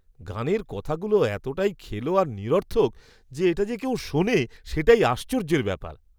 গানের কথাগুলো এতটাই খেলো আর নিরর্থক যে এটা যে কেউ শোনে সেটাই আশ্চর্যের ব্যাপার।